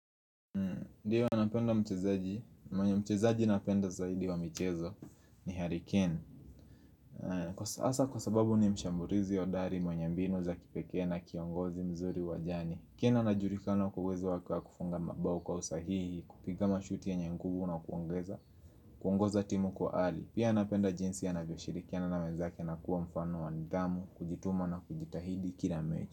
Ndio napenda mchezaji, mwenye mchezaji napenda zaidi wa michezo ni harry kane Asa kwa sababu ni mshambulizi hodari mwenye mbinu za kipekee na kiongozi mzuri wajani kane anajulikana kwa uwezo wake wa kufunga mabao kwa usahihi, kupiga mashuti yenye nguvu na kuongeza, kuongoza timu kwa ali Pia napenda jinsi anavyoshirikiana na wenzake na kuwa mfano wa nidhamu, kujituma na kujitahidi kila mechi.